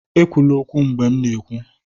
ekwula okwu mgbe m na-ekwu!